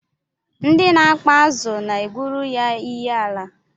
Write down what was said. Ndị na-akpa azụ na-egwuru ya iyiala